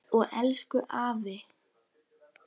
Og elsku afi.